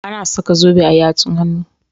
Ana saka zobe a yatsun hannu.